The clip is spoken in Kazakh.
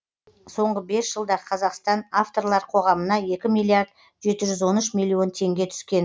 соңғы бес жылда қазақстан авторлар қоғамына екі миллиард жеті жүз он үш миллион теңге түскен